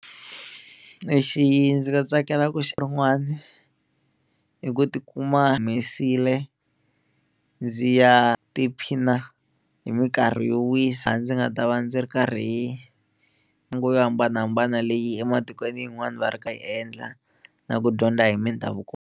Lexi ndzi nga tsakela ku xi i ku tikuma humesile ndzi ya tiphina hi minkarhi yo wisa ndzi nga ta va ndzi ri karhi ni yo hambanahambana leyi ematikweni yin'wani va ri ka yi endla na ku dyondza hi mindhavuko.